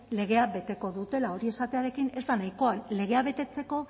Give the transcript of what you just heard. legea beteko dutela hori esatearekin ez da nahikoa legea betetzeko